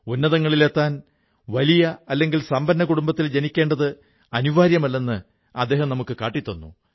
ഉന്നതങ്ങളിലെത്താൻ വലിയ അല്ലെങ്കിൽ സമ്പന്ന കുടുംബത്തിൽ ജനിക്കേണ്ടത് അനിവാര്യമല്ലെന്ന് അദ്ദേഹം നമുക്കു കാട്ടിത്തന്നു